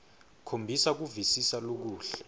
khombisa kuvisisa lokuhle